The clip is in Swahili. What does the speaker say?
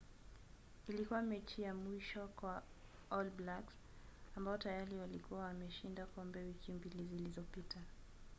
ilikuwa mechi ya mwisho kwa all blacks ambao tayari walikuwa wameshinda kombe wiki mbili zilizopita